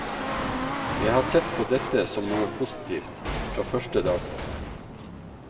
Jeg har sett på dette som noe positivt, fra første dag.